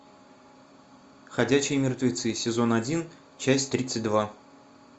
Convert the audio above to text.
ходячие мертвецы сезон один часть тридцать два